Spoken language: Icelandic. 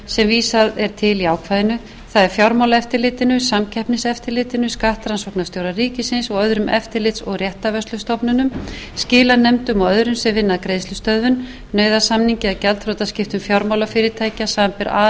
vísað er til í ákvæðinu það er fjármálaeftirlitinu samkeppniseftirlitinu skattrannsóknarstjóra ríkisins og öðrum eftirlits og réttarvörslustofnunum skilanefndum og öðrum sem vinna að greiðslustöðvun nauðasamningi eða gjaldþrotaskiptum fjármálafyrirtækja samanber a